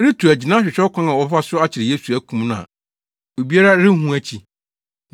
retu agyina ahwehwɛ ɔkwan a wɔbɛfa so akyere Yesu, akum no a obiara renhu akyi.